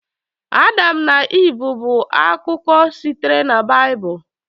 Adam na Iv bụ akụkọ sitere na Baịbụl.